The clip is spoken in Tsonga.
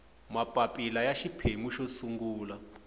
mapapila ya xiphemu xo sungula